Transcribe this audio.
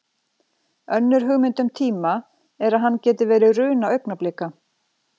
Önnur hugmynd um tíma er að hann geti verið runa augnablika.